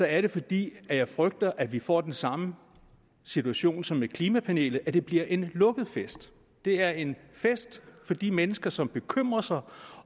er det fordi jeg frygter at vi får den samme situation som med klimapanelet nemlig at det bliver en lukket fest det er en fest for de mennesker som bekymrer sig